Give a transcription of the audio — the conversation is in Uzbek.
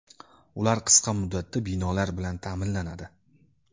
Ular qisqa muddatda binolar bilan ta’minlanadi.